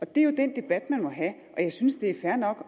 det er jo den debat man må have og jeg synes det er fair nok